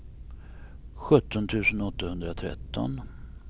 sjutton tusen åttahundratretton